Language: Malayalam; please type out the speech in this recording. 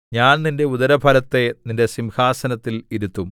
ഞാൻ നിന്റെ ഉദരഫലത്തെ നിന്റെ സിംഹാസനത്തിൽ ഇരുത്തും